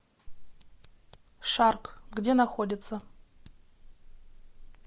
шарк где находится